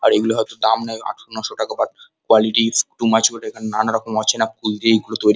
আর এগুলো হয়তো দাম নেই আটান্নশো টাকা but quality is too much good নানারকম অচেনা ফুল দিয়ে এগুলো তৈ--